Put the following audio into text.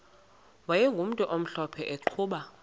wayegumntu omhlophe eqhuba